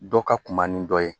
Dɔ ka kunba ni dɔ ye